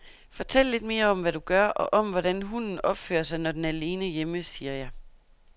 Fortæl lidt mere om, hvad du gør og om, hvordan hunden opfører sig, når den er alene hjemme, siger jeg.